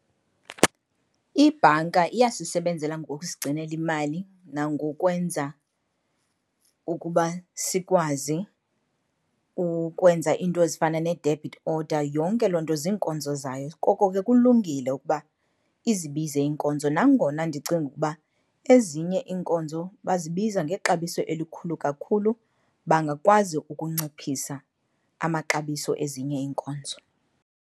Ibhanka iyasisebenzela ngokusigcinela imali nangokwenza ukuba sikwazi ukwenza iinto ezifana ne-debit order, yonke loo nto zinkonzo zayo, koko ke kulungile ukuba izibize iinkonzo. Nangona ndicinga ukuba ezinye iinkonzo bazibiza ngexabiso elikhulu kakhulu, bangakwazi ukunciphisa amaxabiso ezinye iinkonzo.